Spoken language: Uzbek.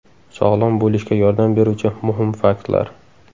Sog‘lom bo‘lishga yordam beruvchi muhim faktlar.